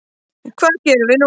Hvað gerum við nú